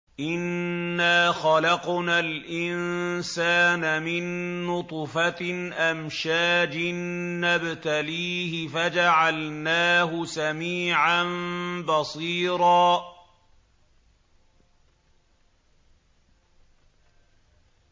إِنَّا خَلَقْنَا الْإِنسَانَ مِن نُّطْفَةٍ أَمْشَاجٍ نَّبْتَلِيهِ فَجَعَلْنَاهُ سَمِيعًا بَصِيرًا